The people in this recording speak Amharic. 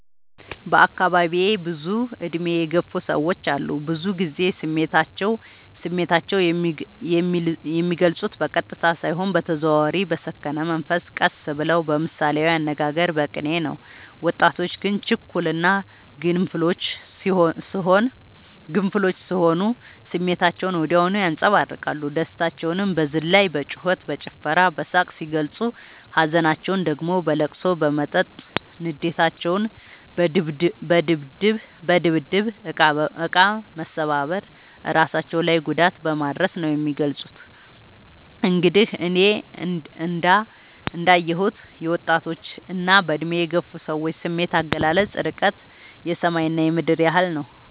በአካባቢዬ ብዙ እድሜ የገፉ ሰዎች አሉ። ብዙ ግዜ ስሜታቸው የሚልፁት በቀጥታ ሳይሆን በተዘዋዋሪ በሰከነ መንፈስ ቀስ ብለው በምሳሌያዊ አነጋገር በቅኔ ነው። ወጣቶች ግን ችኩል እና ግንፍሎች ስሆኑ ስሜታቸውን ወዲያው ያንፀባርቃሉ። ደስታቸውን በዝላይ በጩከት በጭፈራ በሳቅ ሲገልፁ ሀዘናቸውን ደግሞ በለቅሶ በመጠጥ ንዴታቸውን በድብድብ እቃ መሰባበር እራሳቸው ላይ ጉዳት በማድረስ ነው የሚገልፁት። እንግዲህ እኔ እንዳ የሁት የወጣቶች እና በእድሜ የገፉ ሰዎች ስሜት አገላለፅ እርቀቱ የሰማይ እና የምድር ያህል ነው።